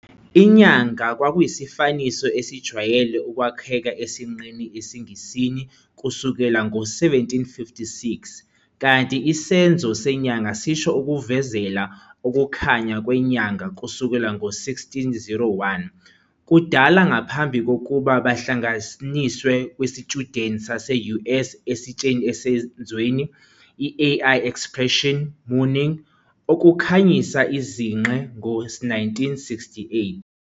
Inyanga kwakuyisifaniso esijwayele ukwakheka sesinqe esiNgisini kusukela ngo-1756, kanti isenzo senyanga sisho 'ukuvezela ukukhanya kwenyanga' kusukela ngo-1601, kudala ngaphambi kokuba bahlanganiswe kwisitshudeni sase-US esitsheni esenzweni, i-AI expression, mooning "ukukhanyisa izinqe" ngo-1968.